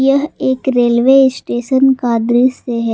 यह एक railway station का दृश्य है।